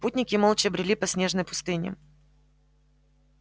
путники молча брели по снежной пустыне